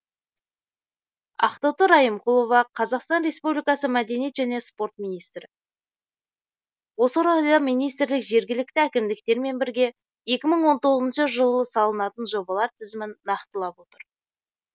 ақтоты райымқұлова қазақстан республикасы мәдениет және спорт министрі осы орайда министрлік жергілікті әкімдіктермен бірге екі мың тоғызыншы жылы салынатын жобалар тізімін нақтылап отыр